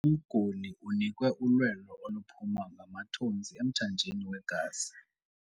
Umguli unikwe ulwelo oluphuma ngamathontsi emthanjeni wegazi.